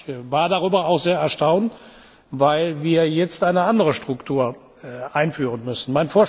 Ich war darüber sehr erstaunt, weil wir jetzt eine andere Struktur einführen müssen.